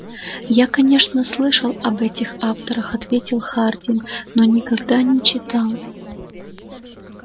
я конечно слышал об этих авторах ответил хардин но никогда не читал